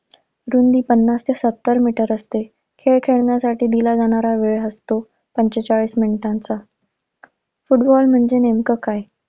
रुंदी पन्नास ते सत्तर मीटर असते. हे खेळण्यासाठी दिला जाणारा वेळ असतो पंचेचाळीस मिनिटांचा. फुटबॉल म्हणजे नेमकं काय?